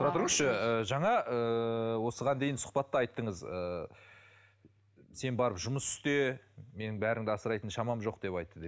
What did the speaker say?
тұра тұрыңызшы ыыы жаңа ыыы осыған дейін сұхбатта айтыңыз ыыы сен барып жұмыс істе мен бәріңді асырайтын шамам жоқ деп айтты де